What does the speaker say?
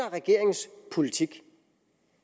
regeringens politik